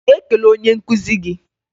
Ị ga-ekele onye nkụzi gị?